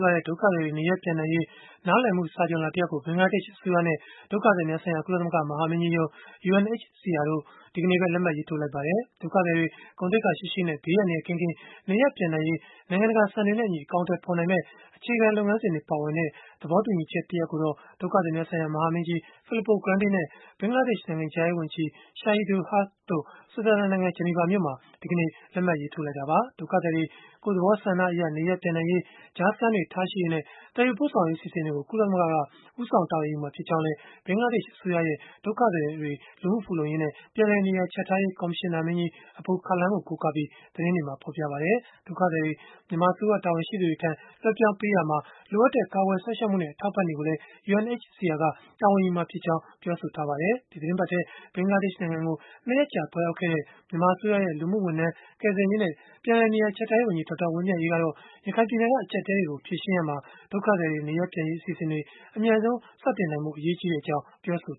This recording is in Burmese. သွားတဲ့ ဒုက္ခသည်တွေ နေရပ်ပြန်နိုင်ရေး နားလည်မှုစာချွန်လွှာ တရပ်ကို ဘင်္ဂလားဒေ့ရှ် အစိုးရနဲ့ ဒုက္ခသည်များဆိုင်ရာ ကုလသမဂ္ဂ မဟာမင်းကြီးရုံး တို့ကြား ဒီကနေ့ပဲ လက်မှတ်ရေးထိုးလိုက်ကြပါတယ်။ ဒုက္ခသည်တွေ ဂုဏ်သိက္ခာရှိရှိနဲ့ ဘေးအန္တရာယ်ကင်းကင်း နေရပ်ရင်းပြန်နိုင်ရေး နိုင်ငံတကာစံတွေနဲ့အညီ အကောင်အထည်ဖော်နိုင်မယ့် အခြေခံလုပ်ငန်းစဉ်တွေ ပါဝင်တဲ့ သဘောတူညီချက်ကိုတော့ ဒုက္ခသည်များဆိုင်ရာ မဟာမင်းကြီး Filippo Grandi နဲ့ ဘင်္ဂလားဒေ့ရှ် နိုင်ငံခြားရေးဝန်ကြီး Shahidul Haque တို့ ဆွစ်ဇာလန်နိုင်ငံ ဂျနီဗာမြို့မှာ ဒီကနေ့ လက်မှတ်ရေးထိုးလိုက်ကြတာပါ။ ဒုက္ခသည်တွေ ကိုယ့်သဘောဆန္ဒအရ နေရပ်ပြန်နိုင်ရေး၊ ကြားစခန်းတွေထားရှိရေးနဲ့ သယ်ယူပို့ဆောင်ရေး အစီအစဉ်တွေကို ကုလသမဂ္ဂက ဦးဆောင်တာဝန်ယူမှာ ဖြစ်ကြောင်းလည်း ဘင်္ဂလားဒေ့ရှ် အစိုးရရဲ့ ဒုက္ခသည်တွေ လူမှုဖူလုံရေးနဲ့ ပြန်လည်နေရာချထားရေး ကော်မရှင်နာမင်းကြီး Abul Kalam ကို ကိုးကားပြီး သတင်းတွေက ဖော်ပြပါတယ်။ ဒုက္ခသည်တွေ မြန်မာအစိုးရ တာဝန်ရှိသူတွေထံ လွဲှပြောင်းပေးရာမှာ လိုအပ်တဲ့ ကာကွယ်စောင့်ရှောက်မှုနဲ့ အထောက်အပံ့တွေကိုလည်း UNHCR က တာဝန်ယူမှာ ဖြစ်တယ်လို့လည်း ဆိုပါတယ်။ ဒီသီတင်းပတ်ထဲ ဘင်္ဂလားဒေ့ရှ်နိုင်ငံကို ၂ ရက်ကြာ သွားရောက်ခဲ့တဲ့ မြန်မာအစိုးရရဲ့ လူမှုဝန်ထမ်း၊ ကယ်ဆယ်ရေးနဲ့ ပြန်လည်နေရာချထားရေးဝန်ကြီး ဒေါက်တာဝင်းမြတ်အေး ကတော့ ရခိုင်ပြည်နယ်က အကျပ်အတည်းတွေကို ဖြေရှင်းရာမှာ ဒုက္ခသည်တွေ နေရပ်ပြန်နိုင်ရေး အစီအစဉ်တွေ အမြန်ဆုံး စတင်နိုင်ရေး အရေးကြီးကြောင်း ပြောဆို